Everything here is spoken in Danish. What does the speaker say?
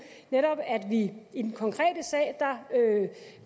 netop at vi i den konkrete sag